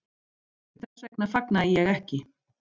Þess vegna fagnaði ég ekki.